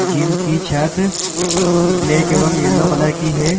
Gym कि छत black एवं येलो कलर की है।